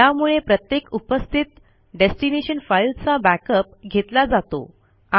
यामुळे प्रत्येक उपस्थित डेस्टिनेशन फाईलचा बॅकअप घेतला जातो